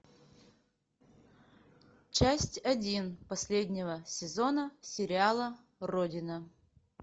часть один последнего сезона сериала родина